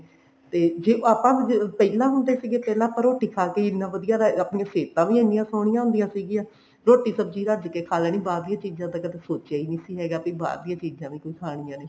ਤੇ ਜੇ ਆਪਾਂ ਪਹਿਲਾਂ ਹੁੰਦੇ ਸੀਗੇ ਪਹਿਲਾਂ ਆਪਾਂ ਰੋਟੀ ਖਾ ਕੇ ਹੀ ਆਪਣੇ ਸਿਹਤਾਂ ਵੀ ਆਪਣੀਆਂ ਇੰਨੀਆਂ ਵਧੀਆ ਹੁੰਦੀਆਂ ਸੀਗੀਆਂ ਰੋਟੀ ਰੱਜ ਕੇ ਖਾ ਲੈਣੀ ਬਾਹਰਲੀਆਂ ਚੀਜ਼ਾਂ ਦਾ ਕਦੇ ਸੋਚਿਆ ਹੀ ਨੀ ਸੀ ਹੈਗਾ ਵੀ ਬਾਹਰ ਦੀਆਂ ਨ ਚੀਜ਼ਾਂ ਵੀ ਕੋਈ ਖਾਣੀਆਂ ਨੇ